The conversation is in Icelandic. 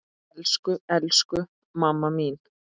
Elsku, elsku mamma mín.